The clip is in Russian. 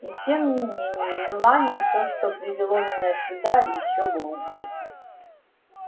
и тем не менее мелани то что привело меня сюда ещё глубже